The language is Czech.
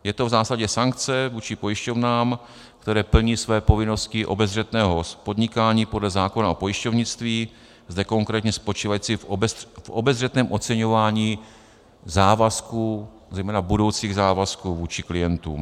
Je to v zásadě sankce vůči pojišťovnám, které plní své povinnosti obezřetného podnikání podle zákona o pojišťovnictví, zde konkrétně spočívající v obezřetném oceňování závazků, zejména budoucích závazků vůči klientům.